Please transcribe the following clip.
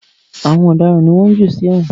Àwọn ọ̀daràn ni wọ́n ń jù sí èwọ̀n